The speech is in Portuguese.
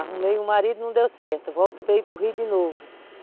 Arrumei um marido, não deu certo, volto para ir para o Rio de novo.